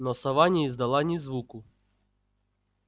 но сова не издала ни звуку